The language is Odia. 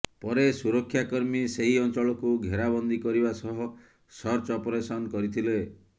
ପରେ ସୁରକ୍ଷାକର୍ମୀ ସେହି ଅଞ୍ଚଳକୁ ଘେରା ବନ୍ଦୀ କରିବା ସହ ସର୍ଚ୍ଚ ଅପରେସନ୍ କରିଥିଲେ